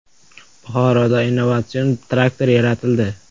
Buxoroda innovatsion traktor yaratildi.